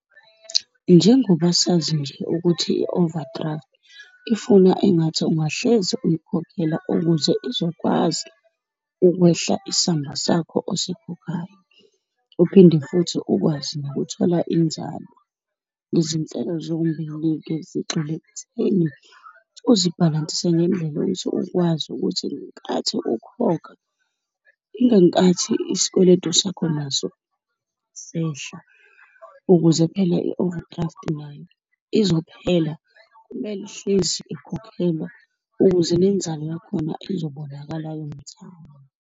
Njengobasazi nje ukuthi i-overdraft ifuna engathi ungahlezi uyikhokhela ukuze izokwazi ukwehla isamba sakho osikhokhayo, uphinde futhi ukwazi nokuthola inzalo. Izinhlelo zombili-ke zigxile ekutheni uzibhalansise ngendlela yokuthi ukwazi ukuthi ngenkathi ukhokha, kungenkathi isikweletu sakho naso sehla. Ukuze phela i-overdraft nayo izophela, kumele ihlezi ikhokhelwa ukuze nenzalo yakhona izobonakala iwumthamo.